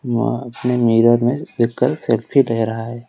वह अपने मिरर देख कर सेल्फी ले रहा हैं।